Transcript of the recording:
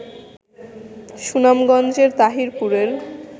সুনামগঞ্জের তাহিরপুরের